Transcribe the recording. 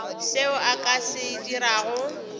seo a ka se dirago